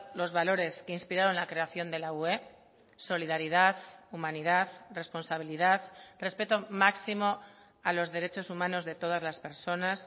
los valores que inspiraron la creación de la ue solidaridad humanidad responsabilidad respeto máximo a los derechos humanos de todas las personas